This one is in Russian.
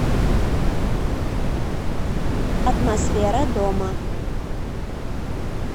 атмосфера дома